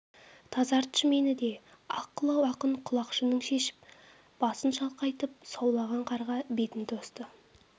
тазартшы мені де ақ қылау ақын құлақшынын шешіп басын шалқайтып саулаған қарға бетін тосты